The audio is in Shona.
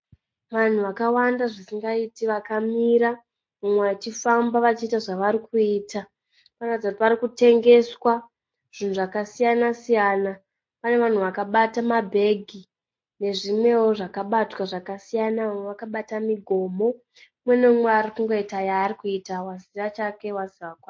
Vanhu vakawanda zvisingaiti vakamira, mumwe achifamba vachiita zvavarikuita. Parikuratidza kuti parikutengeswa zvinhu zvakasiyana siyana. Pane vanhu vakabata mabhegi nezvimwewo zvakabatwa zvakasiyanawo, vamwe vakabata migomo. Mumwenemumwe arikuita yaari kuita aziva chake waziva kwake.